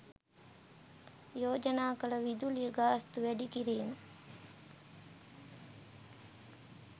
යෝජනා කළ විදුලිය ගාස්තු වැඩිකිරීම